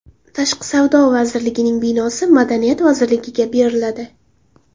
Tashqi savdo vazirligining binosi Madaniyat vazirligiga beriladi.